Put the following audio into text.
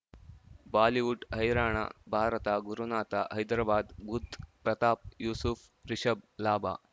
Bollywood ಹೈರಾಣ ಭಾರತ ಗುರುನಾಥ ಹೈದರಾಬಾದ್ ಬುಧ್ ಪ್ರತಾಪ್ ಯೂಸುಫ್ ರಿಷಬ್ ಲಾಭ